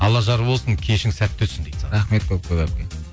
алла жар болсын кешің сәтті өтсін дейді саған рахмет көп көп әпке